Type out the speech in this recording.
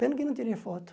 Pena que eu não tirei foto.